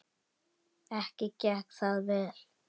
Ekki gekk það vel.